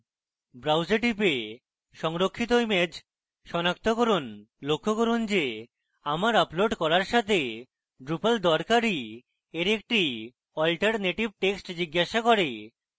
browse we টিপে সংরক্ষিত image সনাক্ত করুন লক্ষ্য করুন যে আমরা upload করার সাথে drupal দরকারী এর একটি alternative text জিজ্ঞাসা করবে